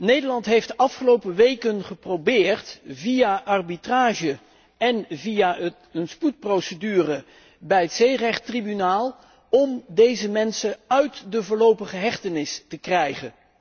Nederland heeft de afgelopen weken geprobeerd via arbitrage en via een spoedprocedure bij het Zeerechttribunaal om deze mensen uit de voorlopige hechtenis te krijgen.